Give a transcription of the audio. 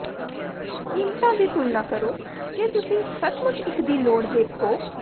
ਕੀਮਤਾਂ ਦੀ ਤੁਲਨਾ ਕਰੋ ਜੇ ਤੁਸੀਂ ਸੱਚਮੁੱਚ ਇਕ ਦੀ ਲੋੜ ਦੇਖੋ